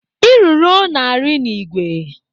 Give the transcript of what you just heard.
Eruru na-arị n'ìgwè.